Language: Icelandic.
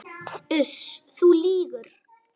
Uss, þú lýgur.